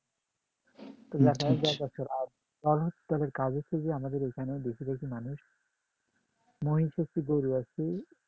কাজ হচ্ছে যে আমাদের বেশি বেশি মানুষ মহিষ আছে গরু আছে